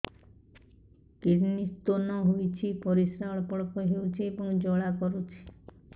kidney stone ହୋଇଛି ପରିସ୍ରା ଅଳ୍ପ ଅଳ୍ପ ହେଉଛି ଏବଂ ଜ୍ୱାଳା କରୁଛି